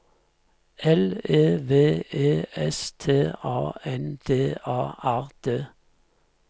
L E V E S T A N D A R D